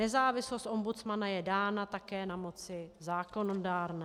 Nezávislost ombudsmana je dána také na moci zákonodárné.